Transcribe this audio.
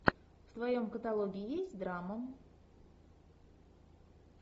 в твоем каталоге есть драма